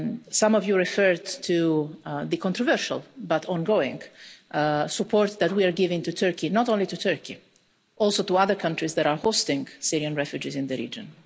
Some of you referred to the controversial, but ongoing, support that we are giving to Turkey and not only to Turkey but also to other countries that are hosting Syrian refugees in the region.